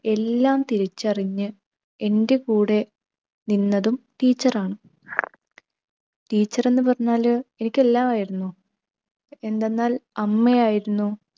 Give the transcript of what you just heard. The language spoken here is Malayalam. എല്ലാം തിരിച്ചറിഞ്ഞു എൻ്റെ കൂടെ നിന്നതും teacher ആണ്. teacher എന്ന് പറഞ്ഞാല് എനിക്കെല്ലാമായിരുന്നു. എന്തെന്നാൽ അമ്മയായിരുന്നു,